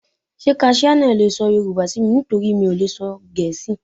Ṣé kaṣíá náà le sọ Yorùbá sí mi? nítorí mi ò lè sọ Gẹ̀ẹ́sì.